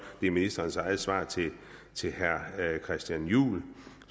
det er ministerens eget svar til herre christian juhl